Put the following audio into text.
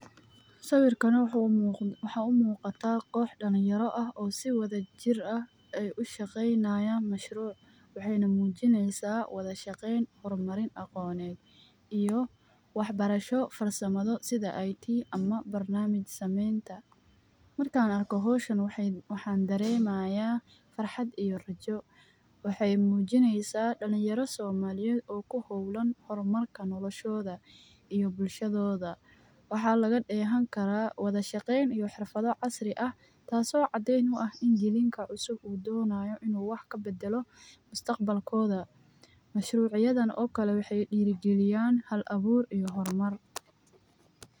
Sawirkani waxuu u muqataa koox dhalin yaro ah oo si wadajir ah ay u shaqeynayaan mashruuc waxeyna mujineysaa wada shaqeyn horumarin aqoneed iyo wax barasho farsamado sida IT ama barnaamij sameynta ,markaan arko hawshan waxaan daremayaa farxad iyo rajo .Waxeey muujineysaa dhalin yaro somaliyeed oo ku hawlan horumarka nolashooda iyo bulshadooda, waxaa laga dheehan karaa wada shaqeyn iyo xirfado casri ah taas oo cadeyn u ah in jaliinka cusub uu doonayo in uu wax ka badalo mustaqbalkooda. Mashruuc yadan oo kale waxeey dhhira galiyaan hal abuur iyo horumar.